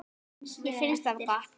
Mér finnst það gott.